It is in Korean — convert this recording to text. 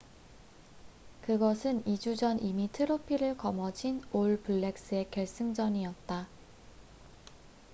그것은 2주 전 이미 트로피를 거머쥔 올 블랙스'의 결승전이었다